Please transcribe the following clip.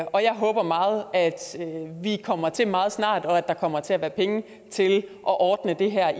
og jeg håber meget at vi kommer til meget snart og at der kommer til at være penge til at ordne det her